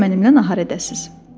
Bəlkə mənimlə nahar edəsiz?